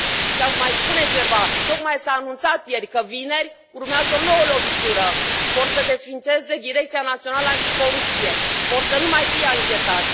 Și aș mai spune ceva tocmai s a anunțat ieri că vineri urmează o nouă lovitură vor să desființeze Direcția Națională Anticorupție, vor să nu mai fie anchetați.